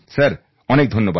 sir অনেক ধন্যবাদ